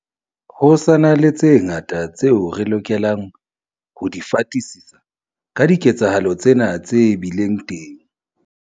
Ho sa na le tse ngata tseo re lokelang ho di fatisisa ka diketsahalo tsena tse bileng teng.